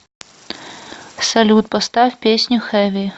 салют поставь песню хэви